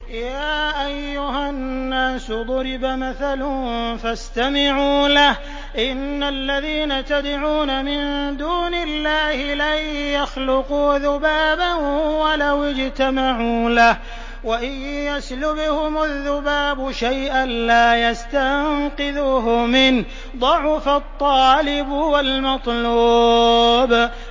يَا أَيُّهَا النَّاسُ ضُرِبَ مَثَلٌ فَاسْتَمِعُوا لَهُ ۚ إِنَّ الَّذِينَ تَدْعُونَ مِن دُونِ اللَّهِ لَن يَخْلُقُوا ذُبَابًا وَلَوِ اجْتَمَعُوا لَهُ ۖ وَإِن يَسْلُبْهُمُ الذُّبَابُ شَيْئًا لَّا يَسْتَنقِذُوهُ مِنْهُ ۚ ضَعُفَ الطَّالِبُ وَالْمَطْلُوبُ